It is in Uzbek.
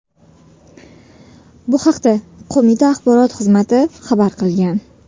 Bu haqda qo‘mita axborot xizmati xabar qilgan .